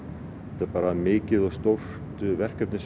þetta var mikið og stórt verkefni